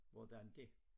Hvordan dét